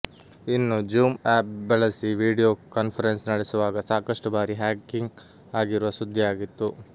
ಇನ್ನು Zoom app ಬಳಸಿ video conference ನಡೆಸುವಾಗ ಸಾಕಷ್ಟು ಬಾರಿ ಹ್ಯಾಕಿಂಗ್ ಆಗಿರುವ ಸುದ್ದಿ ಆಗಿತ್ತು